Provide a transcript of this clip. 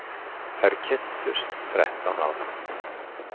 Þær kynntust þrettán ára.